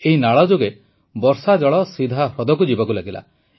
ଏହି ନାଳଯୋଗେ ବର୍ଷାଜଳ ସିଧା ହ୍ରଦକୁ ଯିବାକୁ ଲାଗିଲା